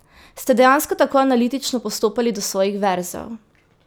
Ste dejansko tako analitično postopali do svojih verzov?